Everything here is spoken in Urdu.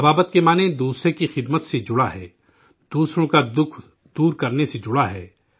ابابت کا معنی، دوسرے کی خدمت سے جڑا ہے، دوسروں کی تکلیف دور کرنے سے جڑا ہے